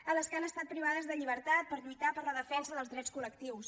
a les que han estat privades de llibertat per lluitar per la defensa dels drets col·lectius